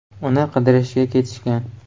“Uni qidirishga ketishgan.